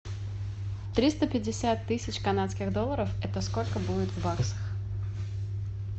триста пятьдесят тысяч канадских долларов это сколько будет в баксах